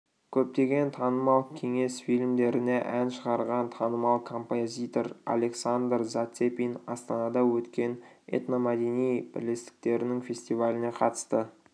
көптеген танымал кеңес фильмдеріне ән шығарған танымал композитор александр зацепин астанада өткен этномәдени бірлестіктерінің фестиваліне қатысты